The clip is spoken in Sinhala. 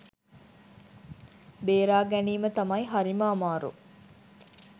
බේරා ගැනීම තමයි හරිම අමාරු.